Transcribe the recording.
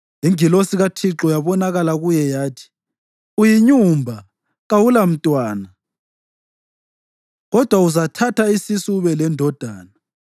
Ingilosi kaThixo yabonakala kuye yathi, “Uyinyumba kawulamntwana, kodwa uzathatha isisu ube lendodana.